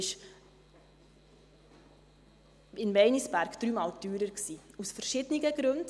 Das Projekt Meinisberg war dreimal teurer, aus verschiedenen Gründen.